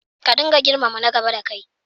Ka dinga girmama na gaba dakai.